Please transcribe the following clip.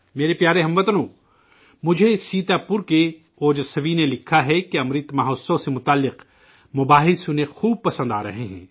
میرے پیارے ہم وطنو، مجھے سیتا پور کے اوجسوی نے لکھا ہے کہ امرت مہوتسو سے متعلق تذکرے انہیں بہت پسند آرہے ہیں